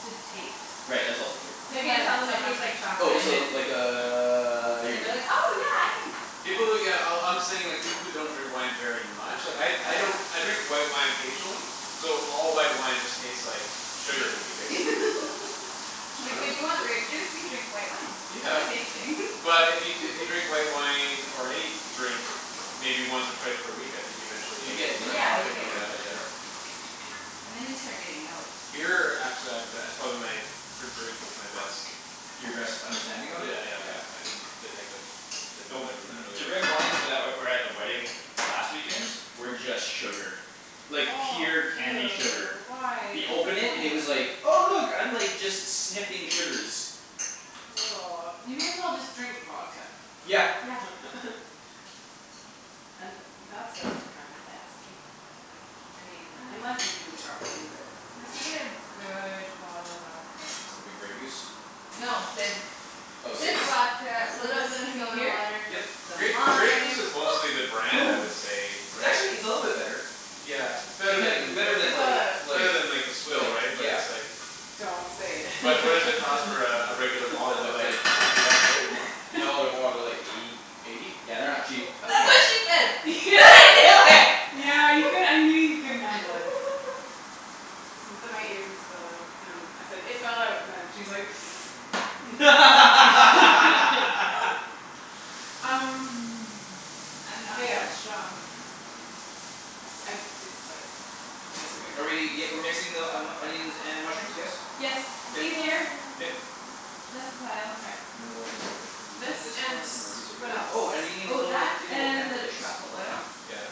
to taste. Right that's also true. Say You can when, tell them it someone. tastes like Oh chocolate and this'll it's like uh you're And they're good. like, "Oh yeah I Yeah. can". Yeah. People who yeah oh I'm saying people who don't drink wine very much. Like I Oh I yeah. don't I drink white wine occasionally So all white wine just taste like Sugar to me Shitty basically. It's Uh Like when true. you want th- grape juice you drink white wine. They're the Yeah. same thing But if you t- if you drink white wine or any Drink maybe once or twice per week I think eventually You you could get Yeah, you get start a palate you for it picking get it yeah out for yeah. sure. And then you start getting notes. Beer actually I've go- it's probably my for drink that's my best. Your best Yeah understanding of it? yeah Yeah. yeah I can detect the different different Though flavors in th- that really the red good. wines that were at the wedding last weekend were just sugar. Like pure candy sugar. Ew, why You what's the open it and it point? was like Oh look I'm like just sniffing sugars. You may as well just drink vodka Yeah. Yeah. And that stuff's kinda nasty I mean unless you do it properly but Unless you get a good bottle of vodka. Some good Grey Goose? No, Sid's Oh Sid's Sid's vodka, So little this bit of can be soda here? water, Yep. some Grey Grey Goose lime. is mostly the brand I would say, It's right? actually it's a little bit better. Yeah, it's better Pretending i- than better It than fell like out. It's like better than like the swill right? like But yeah it's like Don't say But what does it it. cost for a regular bottle? They're That's like like hun- sixty bucks right? Or more? No they're more they're like eighty. Eighty? Yeah, they're not cheap. That's Okay what she Yeah. said do yeah it. yeah you cou- I knew you couldn't handle it. The my earpiece fell out. Um I said it fell out and she's like Um I'm not mayo. that strong. It's I it's like just Are we barely. y- we're mixing the onions and mushrooms, yes? Yes, I'm it's K sure easier. Ian Um K. um. less pile. Okay. And then we'll just have to quickly This clean this and one and we're good to what go. else? Oh and we need a Oh, little do that you have a little pan and for the eggs? truffle oil. Yeah.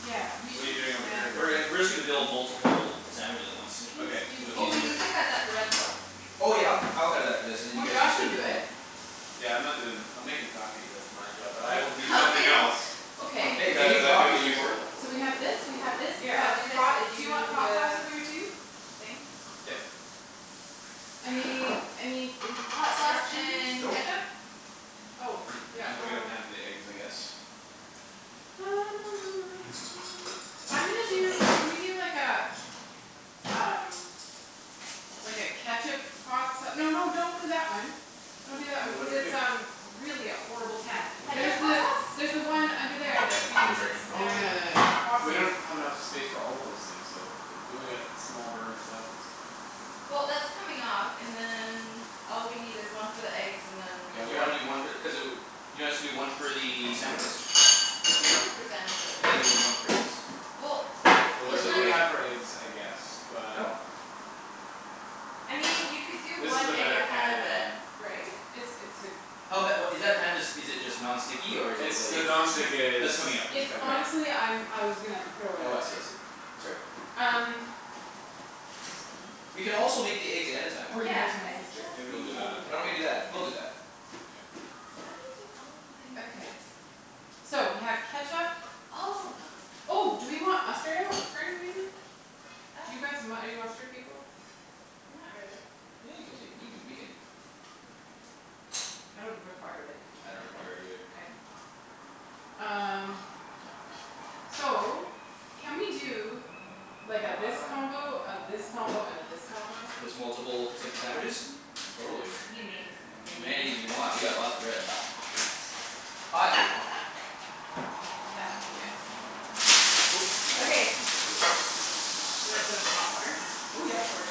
Yeah, we What're you should just doing over here get. We're getting basically? we're just gonna build multiple sandwiches at once. We can Okay. just do So it's Oh these. we easier. need to cut that bread though. Oh yeah I'll ca- I'll cut it after this and then you Or guys can Josh can start do it. building. Yeah I'm not doin' I'm makin' coffee that's my job but I will do Oh Coffee? somethin' else. Okay. Hey, Cuz I making like coffee's feeling important. useful. So we have this we have this we Yeah I'll have do this hot and do you want you the do hot sauce the over here too? thing? Yep. Any any Hot sauce instructions? and Nope. ketchup? Oh yeah I'm gonna get a pan um for the eggs, I guess. I'm gonna Oh, do bagels. can we do like uh Um like a ketchup hot sa- no no don't do that one. Well Don't do that wait one what cuz did we it's um do? really a horrible pan. Ketchup There's hot the sauce? there's the one under there that we I'm use sorry. it. Oh yeah yeah yeah we Awesome. don't have enough space for all of those things though. We only got small burners left at this point. Well that's coming off and then all we need is one for the eggs and then K I'll You wanna grab do one for the cuz uh you want us to do one for the sandwiches? Two for sandwiches. And then we need one for eggs. Well K Cuz we're it's it's really not really cutting not for eggs I guess Oh but I mean you could do This is one a egg better ahead of it, pan right? It's it's a Hell bet what is that pan just is it just non It's stick or is it It's like just the non-stick Oh is it's it's coming coming out out. It's right honestly I'm I was gonna throw it Oh I out. see I see. That's all right. Um. We can also make the eggs ahead of time. Or give it to Yeah my I sister Maybe we'll do just that. Why said don't we do that? that We'll do that. Ian K. How do you take all of my Okay. ideas? So we have ketchup. All of them. Oh do we want mustard out for any reason? Do you Uh. guys mu- are you mustard people? Not really. Yeah you can take you can we can I don't require it. I don't require it either. K. Um so can we do Like a Hot hot this hot combo, a this combo and a this combo? Just multiple types of sandwiches? Totally. We can make as Many many as you want, we got lots of bread. Hot. That yeah. Oh not yet Okay. I'm just gonna wait here a second. Should I put in hot water? Oh yeah, that works.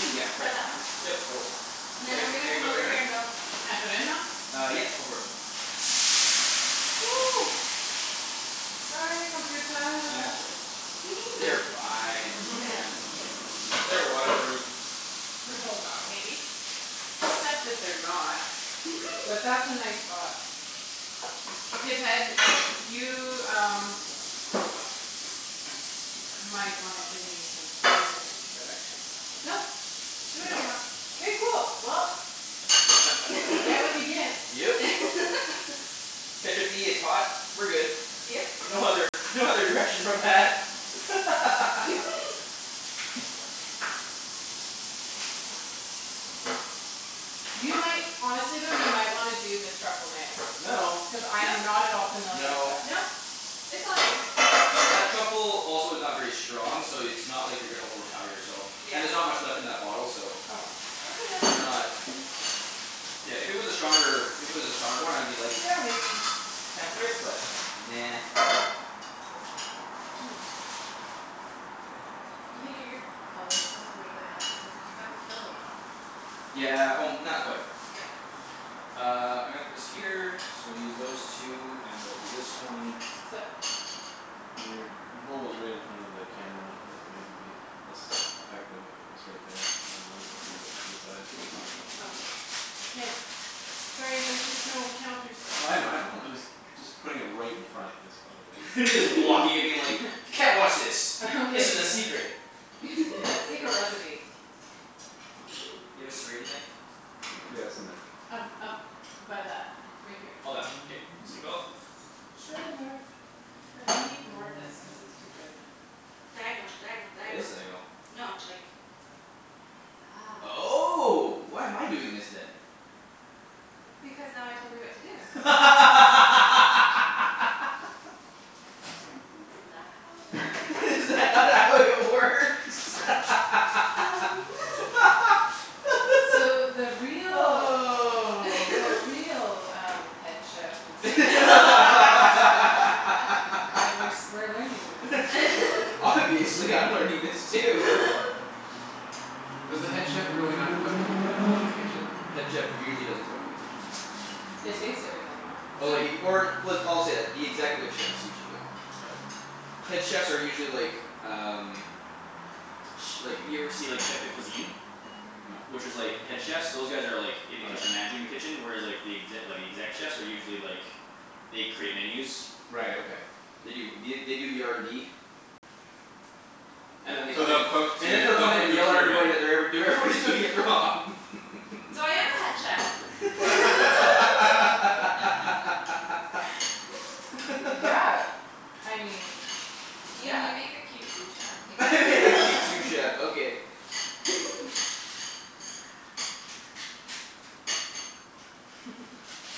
Oh yeah Got right. that one? Yep, I will. And then I'm Eg- gonna eggs come over over here and here? build. Can I put it in now? Uh yep go for it. Sorry computah That's all right. They're fine. Yeah. They're waterproof. Oh wow. Maybe. Except that they're not. But that's a nice thought. Okay Ped, you um Might wanna give me some basic direction. Nope, do whatever you Nope. want. K cool well You get what you get. Yep. ketchup-y, it's hot. We're good. Yep. No other no other direction from that You might honestly though you might wanna do the truffle mayo. No Cuz I No am not at all familiar with No it. Nope, it's all you. That truffle also is not very strong so it's not like you're gonna overpower yourself. Yeah. And there's not much left in that bottle so Oh. Okay then. We're not. Yeah, if it was a stronger if it was a stronger one I'd be like, "Yeah maybe". Temper it, but nah. You can get your oh there's still quite a bit left isn't you'll probably kill the bottle. Yeah o- not quite. Yeah. Uh I'm gonna put this here so we'll use those two and we'll do this one Sup? Your bowl is right in front of the camera. That maybe be less effective if it was right there rather than a little bit to the side. Oh. K. Sorry, there's just no counter space. Well I know I know. Yeah it's I'm right. just just putting it right in front is probably Just blocking it being like. "Can't watch this. This is a Okay secret." okay. Yeah secret recipe. Let's see. You have a serrated knife? Yeah, it's in there. Um up by that right here. Oh that one K. Mhm. sank O. Serrated knife. Okay. They need more of this cuz it's too good. Diagonal diagonal That is diagonal. diagonal. No like That's Oh why am I doing this then? Because now I told you what to do. Isn't that how it works? Is that not how it works? Um So the real the real um head chef is uh Aight, we're s- we're learning this. Obviously I'm learning this too Does the head chef really not cook in the kitchen? Head chef usually doesn't cook in the kitchen. They taste Mhm. everything though. Oh like if you or w- I'll say that executive chefs usually don't. Yeah, okay. Head chefs are usually like um Ch- like if you ever see like chef de cuisine. No. Which is like head chefs those guys are like Oh In the kitchen yeah. managing the kitchen whereas like The exe- the exec chefs are usually like They create menus Right, okay. They do the they do the R N D And then they So come in they'll and cook And then to they'll they'll come in cook and to yell at experiment everybody then. that they're ever- do- everybody's doing it wrong So I am a head chef. Yeah, I mean, Ian yeah. you make a cute sous chef. I make a cute sous chef okay.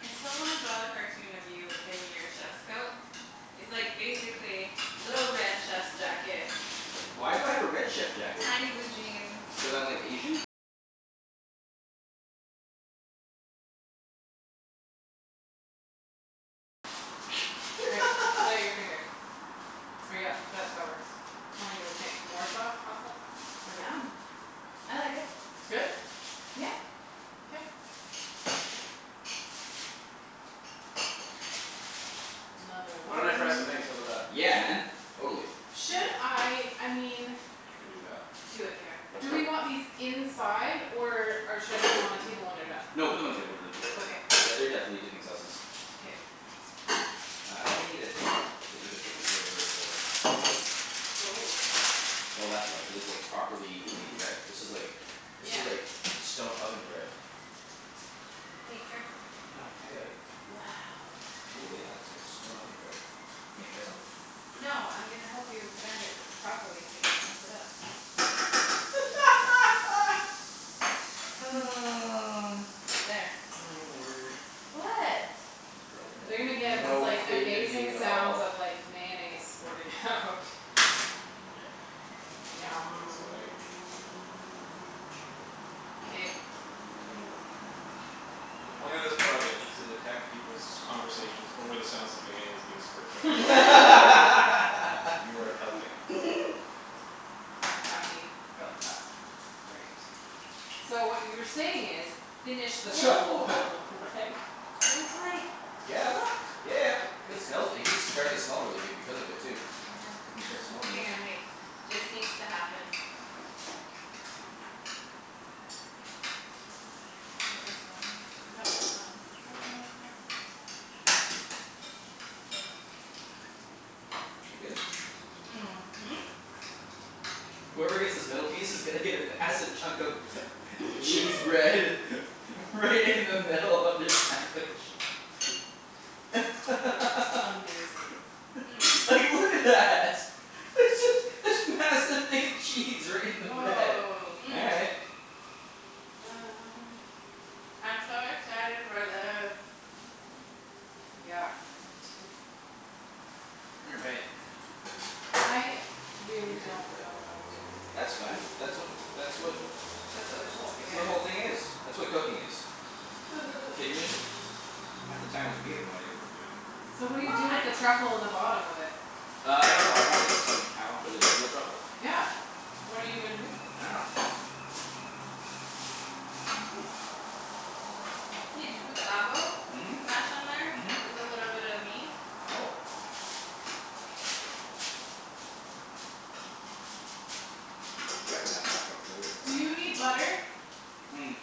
I still wanna draw the cartoon of you in your chef's coat. It's like basically little red chef's jacket Tiny blue jeans K, put out your finger. Or yeah that that works. Tell me what you think. More sauce? Hot sauce? Or no? Yum. I like it. It's good? Yeah. K. Another Why one. don't I fry some eggs? How 'bout that? Yeah Yeah. man, totally. Should Okay. I I mean I can do that. Do it, Kara. Do we want these inside or uh should I put them on the table when they're done? No put them on the table when they're Okay. done. Yeah they're definitely dipping sauces. K. Uh I think I needed to either flip this over or Oh. Oh that's why cuz it's like properly made bread. This is like This Yeah. is like stone oven bread. Hey, careful. I know, I got it. Wow. Cool yeah it's like stone oven bread. You gonna try some? No I'm gonna help you bend it properly so you don't mess it up. There. My word. What? Girlfriend They're gonna has get these no like faith in me amazing at sounds all. of like mayonnaise squirting out It's Yum. aight. K. The point of this project is to detect peoples' conversations over the sounds of mayonnaise being squirted out. And you are helping. I'm happy about that. That's great. So what you were saying is, "Finish this truffle Oh oil", right? There's like, Yeah yeah look yeah Good it good. smells g- like it's starting to smell really good because of it too. I can start Yeah. smelling Hang this. on, wait. This needs to happen. No this one. No this one. I don't know which one. Is it good? Mhm. Whoever gets this middle piece is gonna get a massive chunk of Cheese bread Right in the middle of their sandwich. That's amazing. Like look at that. There's this this massive thing of cheese right in the bread. Woah. All right. Um. I'm so excited for this. Yeah, me too. You're right. I really Weird don't cut. know what I'm doing here. That's fine. That's what that's what That's what this whole That's thing what is. the whole thing is. That's what cooking is. Kidding me? Half the times we have no idea what we're doing. So what do you Well, do I with the know. truffle in the bottom of it? Uh I don't know. I want it. Somehow. Cuz it's real truffle. Yeah, what are you gonna do with it? I dunno Ian, did you put the avo? Mhm. Mhm. Mash on there? With a little bit of meat? Oh. We haven't had a hot cup of Kahlua for a Do long you time. need Mm- butter? mm.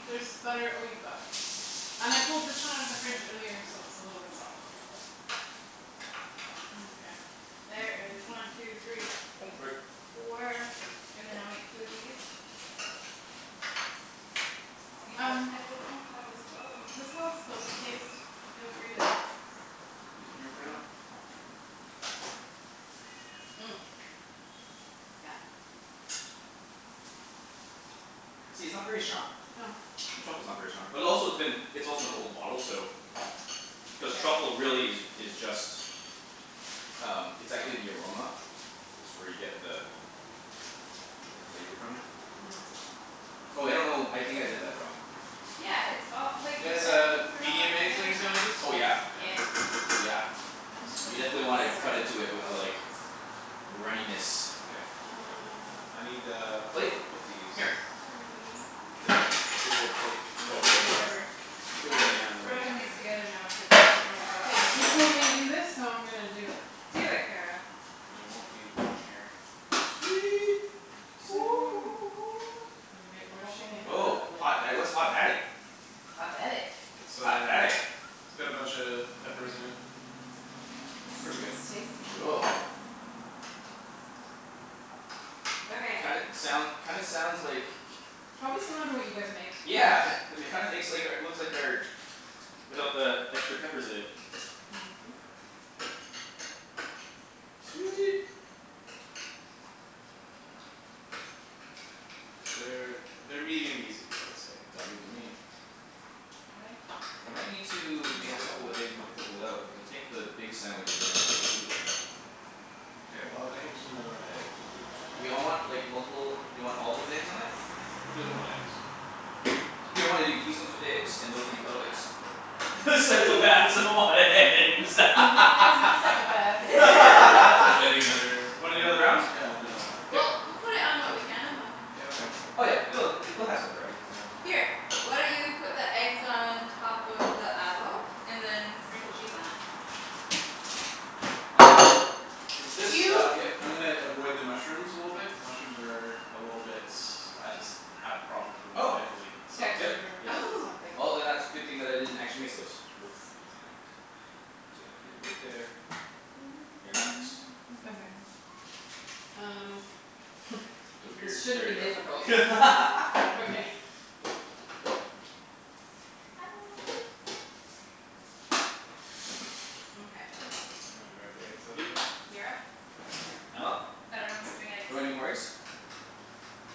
There's butter oh you've got it. And I pulled this one out of the fridge earlier so it's a little bit softer. Mkay. There is one two three Oh f- sorry. four and then I'll make two of these. Ian uh I don't know how this goes. Is this how it's supposed to taste? Feel free to. These in here right off. Yeah. See, it's not very strong. No. The truffle's not very strong. But also it's been it's also an old bottle so Cuz Yeah. truffle really is is just Um it's actually the aroma. That's where you get the The flavor from. Oh I don't know. I think I did that wrong. Yeah, it's all You like i- guys I need uh to put it all medium back eggs on together your now. sandwiches? Oh yeah Yeah. Yeah. yeah. I'm just gonna I You steal don't definitely wanna know where cut this into it off with goes. like runniness. K Uh um I need a Plate? plate to put these. Here. Sorry. Get that big ol' plate for Looking everyone. for Whatever. some Big I'm one just yeah and then I'll Okay throwing just these okay okay together now cuz I don't know what K, goes you with told me to what. do this so I'm gonna do it. Do it, Kara. And I won't need one here. Sweet exciting. We're shakin' it Oh. up Oh a little. hot da- what's hot daddy? It's hot daddy. It's Hot um daddy it's got a buncha peppers in it. It's pretty It's good. it's tasty. Cool Okay. Kinda soun- kinda sounds like Probably similar to what you guys make to be Yeah honest. um it kinda makes like our looks like our Without the extra peppers in it. Mhm. Sweet Cuz they're they're medium easy I would say. Sounds good to me I think We might need to we make a make couple more of with eggs and with a this. couple out. Because I think the big sandwiches are gonna take two of them. K well I can just do another round of eggs, easy. Do we all want like multiple do we all of 'em with eggs on it? Who doesn't want eggs? Do you wanna do these ones with eggs and those ones without eggs? Psychopaths don't want Psychopaths eggs. don't want eggs. Good thing there's no psychopaths here. So should I do another Wanna do another round round? of them? Yeah I'll do another round. K Well we'll put it on what we can and then Yeah, okay. Oh yeah. She loves it. She we'll have some variety, that's fine. Here, why don't you put the eggs on top of the avo and then sprinkle cheese on it? Um for this Do you stuff Yep. I'm gonna avoid the mushrooms a little bit cuz mushrooms are A little bit I just have problems with them Oh mentally so yep Texture yeah. Oh something. Well then that's good thing that I didn't actually mix those. Oops, I just bonked. leave it right there. They're not mixed. Okay. Um The weird This shouldn't there be difficult we go I love okay. you Mkay. I'm gonna grab the eggs out Yep again. You're up. I'm up? I dunno who's doing eggs. Do you wanna do more eggs?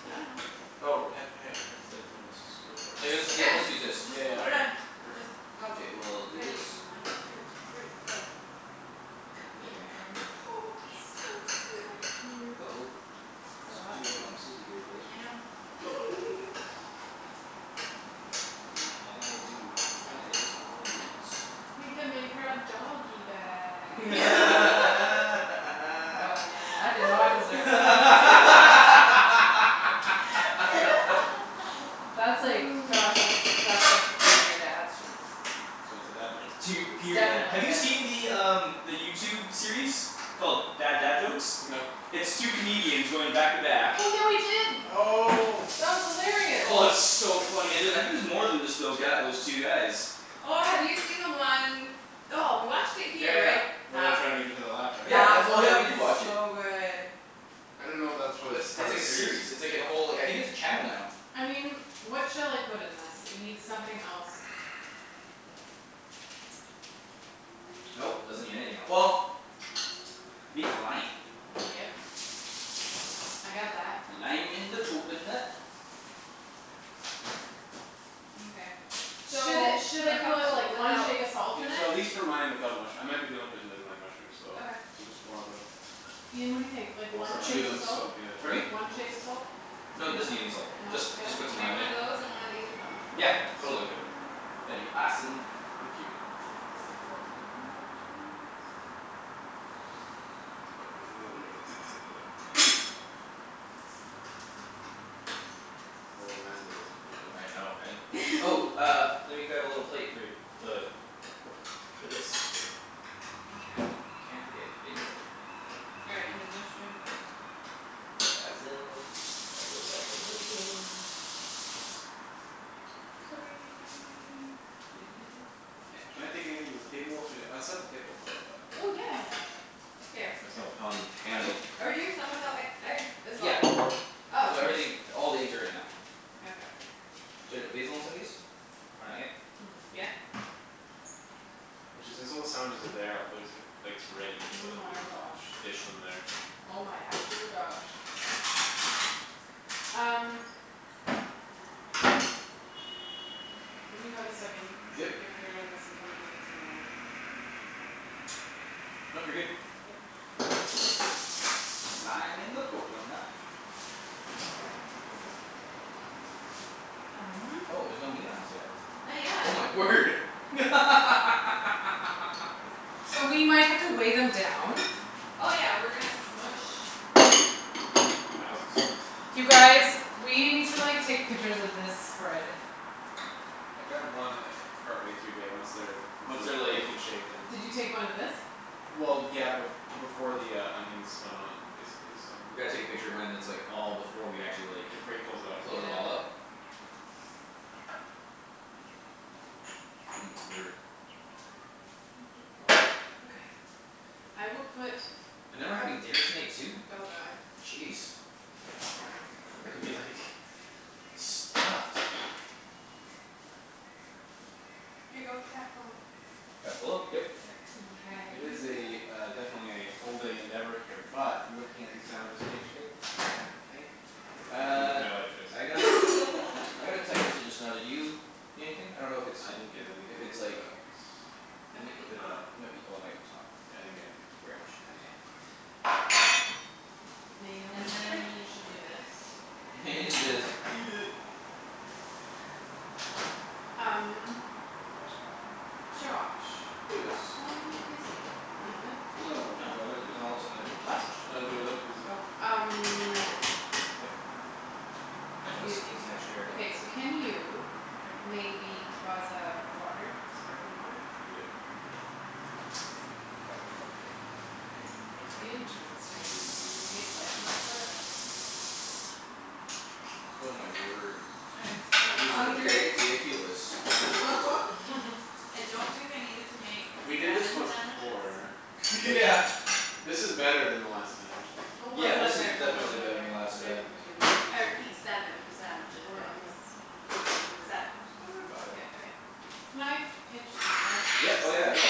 I dunno. Oh epi- had Ped said let's just go for it. Like Yeah, let's just yeah we'll just just use this just Yeah yeah put it okay on. Just perfect. go. K well I'll do Ready, this. one two three go. One Go egg Ian there. So go. Ian go Come in excited. go here. go go. Uh oh It's It's all right. too bad we don't have Susie here for this I one. know. All right like that and then we'll do one egg is on one of these. We can make her a doggy bag. Oh man, I did not deserve laughter. That's like, Josh, that's that's like one of your dad's jokes. So it's a dad joke. It's tear It's pure dad definitely have a you dad joke. see the um The YouTube series called Bad Dad Jokes? No. It's two comedians going back to back Oh yeah we did. Oh That was hilarious. Oh and it's so funny and uh I think there's more than just those guy those two guys. Oh have you seen the one. Oh we watched it Yeah here right? yeah where they're That trying to make each other laugh right? Yeah that that's oh we was did watch it. so good. I didn't know that That's a was it's part of like a a series. series. It's like a whole I think it's a channel now. I mean, what shall I put in this? It need something else. Nope, doesn't need anything el- well Needs lime. Yep. I got that. Lime in the coconut. Mkay. So Should it should a I call couple it like one without shake of salt in Yeah so at it? least for mine without mush- I might be the only person that doesn't like mushrooms so Okay. so just one of them. Ian, what do you think? Like Oh one shake of looks so salt? good. Pardon me? One shake of salt? Dunno. No No? Good? doesn't need any salt. Just just put I'll some make lime one in it. of those and one of these without mushrooms? Yeah Perfect. So totally good. that'd be Uh giant awesome. Thank you. uh pepper away from the mushrooms That's perf- if you wanna bake it's another dill. Oh man do those look good though. I know hey? Oh uh let me grab a little plate for you. The For this. Mkay. Can't forget basil. All right, and then mushrooms uh Basil basil basil basil Sorry Can I take Sorry. anything to the table? Should I get I'll set the table how 'bout that? Oh yeah. Here. Myself hond- Um Basil? handy. are we doing some without e- egg as well? Yeah Oh K. so everything all the eggs are in now. Okay. Should I put basil on some of these? Or not yet? Hmm. Yeah. Actually since all the sandwiches are there I'll probably just get the plates ready Oh so we my can gosh. dish them there. Oh my actual gosh. Um. When you have a second, Yep stick your finger in this and tell me if it needs more lime. Nope you're good. K. Lime in the coconut. You drink it all up. Um. Oh there's no meat on these yet? Not Oh my yet. word So we might have to wave Oh. 'em down. Oh yeah, we're gonna smoosh. Wowzus You guys, we need to like take pictures of this spread. I got one e- partway through bae once they're Once Once they're they're like taken shape then Did you take one of this? Well yeah bef- before the uh onions went on basically so. We gotta take a picture when it's like all before we actually Yeah like before you close it up. close it all up Yeah. Oh my word. Please don't fall out. Okay. I will put And then we're having dinner tonight too? Oh god. Jeez We're gonna be like stuffed. Here go with the Capocollo. Capocollo? Yep. Yep. Mkay It is a uh definitely a full day endeavor here But looking at these sandwiches take shape I think I'm pretty happy with Uh my life choice so I got I got a text message just now did you get anything? I don't know if it's I didn't get if anything it's like but It m- might Or be did Tom. I? Yeah might be oh it might be Tom. I didn't get anything. Very much could be Okay. Tom. Mayo in And the then you fridge. need to do this. Then just eat it. Um Josh, Yes. are you busy at the moment? Oh No, do I look busy? now all of a sudden I've What? changed No, do I look busy? Oh, I got Um this one. K No, I don't. This needs an extra okay so capocollo can you Oh. Maybe buzz a water? Sparkling water? Yep. It's very interesting. It tastes like Oh my word. I am so These are hungry. ridiculous. I don't think I needed to make We did this seven once sandwiches. before Yeah but. This is better than the last time. Don't buzz Yeah it up this is there don't buzz it definitely up better there. than last Put it time. on the table if you need I to, honey. repeat, seven sandwiches Or on the guys. don't do Seven. Don't worry 'bout k, it. okay. Can I pinch the I Yeah just oh sorry yeah no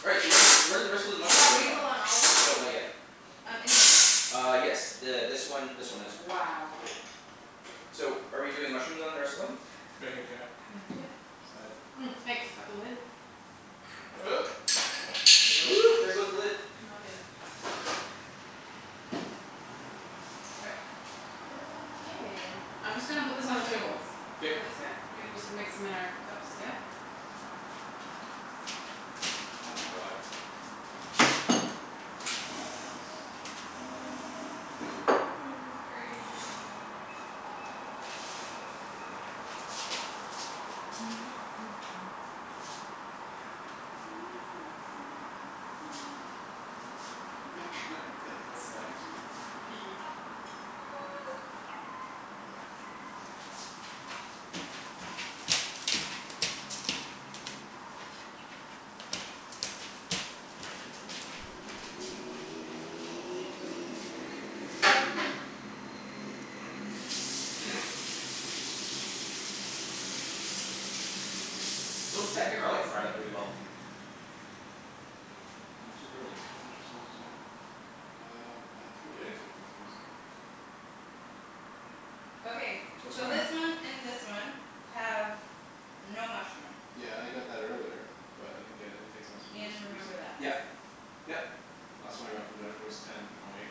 Right, so where where're the rest of those You got mushrooms going on? basil on all of No them? not yet. On any of them? Uh yes th- this one this one and this one. Wow. So are we doing mushrooms on the rest of them? Right here, Kara Yeah. Right beside. Thanks, got the lid? There it goes. there goes the lid. N- I'll get it. Sorry. K, I'm just gonna put this on the Mushrooms table. go All K this right. way? We can just mix 'em in our cups, yeah? Oh my god. This is crazy. Yeah Double stacked cheese. s- yes yes yes yes Those Check deck your garlic phone. fried up really well. I'm super like Josh is almost there Um I didn't get any text messages. Okay, What's so going on? this one and this one have no mushroom. Yeah I got that earlier, but I didn't get any text messages Ian, remember recently. that. Yep yep Last one I got from Jennifer was ten O eight.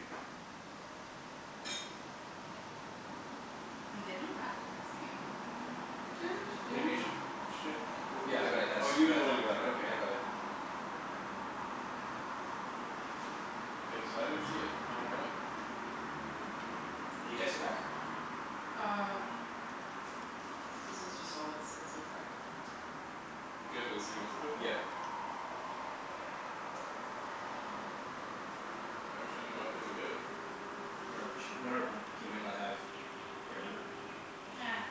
Well, they know not to text me. Maybe you should check oh Yeah yeah I well got it you that's oh you were the one who got it that that I got okay. it. K, so I didn't see it, I don't know why. You texting back? Uh This is just all it said so far. You guys got the same message I think. Yep. I wish I knew why but I didn't get it. Wonder if wonder if he might not have The right number.